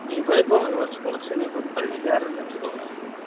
நீ போய் இப்போ ஒரு sports foot ball லையே செரன்னு வச்சுகோ